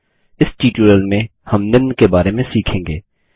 इस ट्युटोरियल में हम निम्न के बारे में सीखेंगे